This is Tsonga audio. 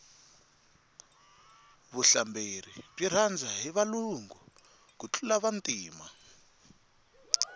vuhlamberi byi rhandza hi valungu ku tlula vantima